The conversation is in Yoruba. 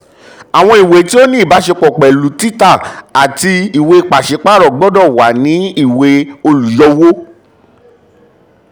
àwọn ìwé um tí ó ní ìbáṣepọ̀ pẹ̀lú títà àti ìwé pàṣípààrọ̀ gbọdọ̀ wà ní ìwé olùyọwó.